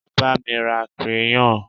e ba mi ra crayon